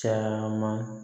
Caman